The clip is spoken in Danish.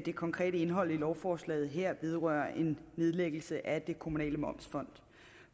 det konkrete indhold i lovforslaget her vedrører en nedlæggelse af det kommunale momsfond